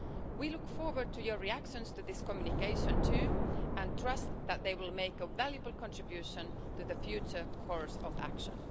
We look forward to your reactions to this communication too and trust that they will make a valuable contribution to the future course of action.